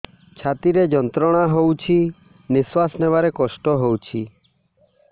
ଛାତି ରେ ଯନ୍ତ୍ରଣା ହଉଛି ନିଶ୍ୱାସ ନେବାରେ କଷ୍ଟ ହଉଛି